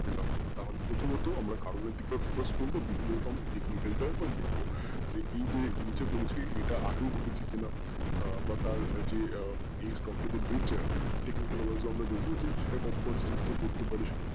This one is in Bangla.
প্রথমত কারণের দিকে focus করবো দ্বিতীয়ত আমরা technical এর দিকে দেখবো এই যে নিচে পড়েছে এটা আগেও ঘটেছে কি না বা তার যে এই যে stock এর যে naturetechnical wise আমরা দেখবো যে সেটা কত percent নিচে পড়তে পারে